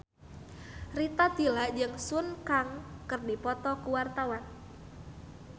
Rita Tila jeung Sun Kang keur dipoto ku wartawan